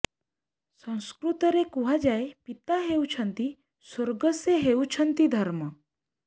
ସଂସ୍କୃତରେ କୁହାଯାଏ ପିତା ହେଉଛନ୍ତି ସ୍ୱର୍ଗ ସେ ହେଉଛନ୍ତି ଧର୍ମ